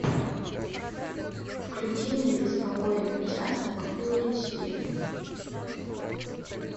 включи мне беспокойный участок фул эйч ди